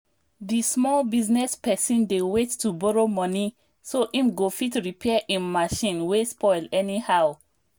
di small business person dey wait to borrow money so im go fit repair im machine wey spoil anyhow